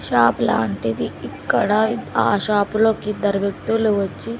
shop లాంటిది ఇక్కడ ఆ షాప్ లో కిద్దరు వ్యక్తులు వచ్చి--